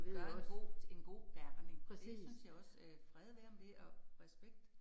Gør en god en god gerning, det synes jeg også øh fred være med det og, respekt